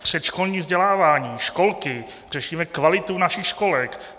Předškolní vzdělávání, školky, řešíme kvalitu našich školek.